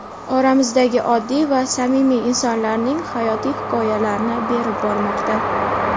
oramizdagi oddiy va samimiy insonlarning hayotiy hikoyalarini berib bormoqda.